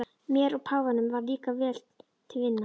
Mér og páfanum varð líka vel til vina.